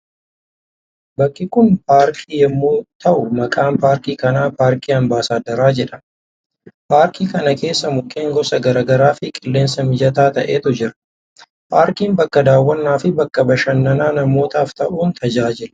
Bakki kun paarkii yommuu ta'u maqaan paarkii kana Paarkii Ambaasaaddaraa jedhama. Paarkii kana keessa mukkeen gosa gara garaa fi qilleensa mijataa ta'etu jira. Paarkiin bakka daawwannaa fi bakka bashannanaa namootaaf ta'uun tajaajila.